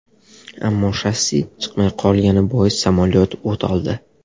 Ammo shassi chiqmay qolgani bois samolyot o‘t oldi.